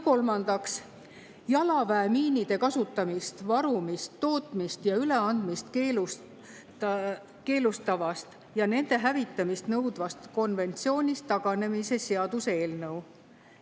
Kolmandaks, jalaväemiinide kasutamist, varumist, tootmist ja üleandmist keelustavast ja nende hävitamist nõudvast konventsioonist taganemise seaduse eelnõu.